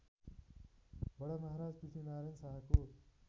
बडामहाराज पृथ्वीनारायण शाहको